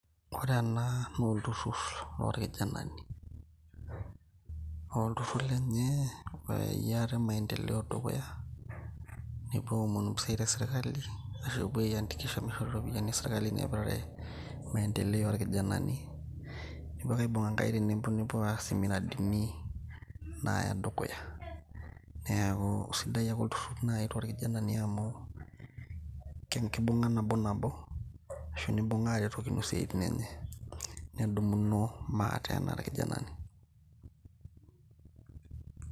ore ena naa olturrur lorkijanani uh, olturrur lenye oyayie ate maendeleo dukuya nepuo aomonu mpisai te sirkali ashu epuo ae andikisha mishori iropiyiani esirkali naipirare maendeleo orkijanani nepuo ake aibung'a inkaik tenebo nepuo aas imiradini naya dukuya neeku sidai ake olturrur naaji torkijanani amu kenkibung'a nabo nabo ashu nibung'a aretokino isiaitin enye nedumuno maate enaa irkijanani.